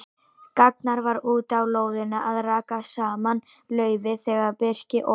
Ragnar var úti á lóðinni að raka saman laufi þegar Birkir og